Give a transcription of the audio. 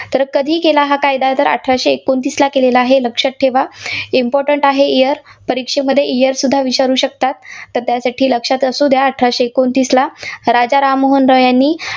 तर कधी केला हा कायदा? तर अठराशे एकोणतीसला केलेला आहे, लक्षात ठेवा. important आहे year परीक्षेमध्ये year सुद्धा विचारू शकतात. तर त्यासाठी लक्षात असू द्या अठराशे एकोणतीसला राजा राम मोहन रॉय यांनी